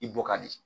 I bɔ ka di